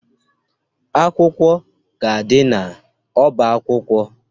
Akwụkwọ ga-adị n'ọba akwụkwọ.